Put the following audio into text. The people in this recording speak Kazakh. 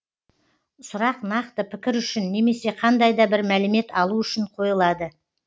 сұрақ нақты пікір үшін немесе қандай да бір мәлімет алу үшін қойылады